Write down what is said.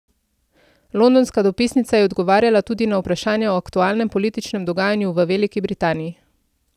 Londonska dopisnica je odgovarjala tudi na vprašanja o aktualnem političnem dogajanju v Veliki Britaniji.